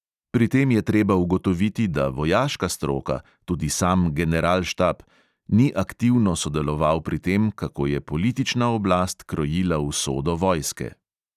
Pri tem je treba ugotoviti, da vojaška stroka, tudi sam generalštab, ni aktivno sodeloval pri tem, kako je politična oblast krojila usodo vojske.